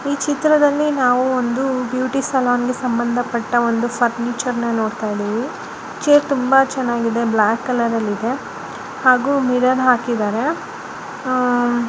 ಈ ಚಿತ್ರದಲ್ಲಿ ನಾವು ಒಂದು ಬ್ಯೂಟಿ ಸಲೂನ್ಗೆ ಸಂಬಂಧಪಟ್ಟ ಒಂದು ಫರ್ನಿಚರ್‌ನ ನೋಡ್ತಾ ಇದೀವಿ ಚೇರ್ ತುಂಬಾ ಚೆನ್ನಾಗಿದೆ. ಹಾಗೂ ಬ್ಲಾಕ್ ಕಲರ್ ಅಲ್ಲಿದೆ ಹಾಗೂ ಮಿರರ್ ಹಾಕಿದ್ದಾರೆ ಅಹ್--